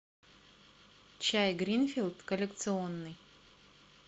чай гринфилд коллекционный